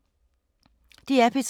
DR P3